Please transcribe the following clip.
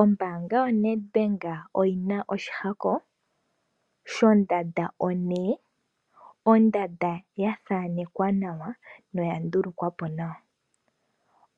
Ombaanga yo NedBank oyi na oshihako shondanda o'N'. Ondanda ya thanekwa nawa no ya ndulukwa po nawa.